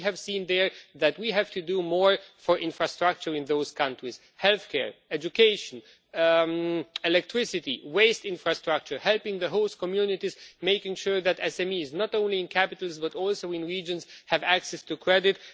We have seen that we have to do more for infrastructure in those countries healthcare, education, electricity and waste infrastructure and in terms of helping the host communities, making sure that SMEs, not only in capitals but also in regions, have access to credit.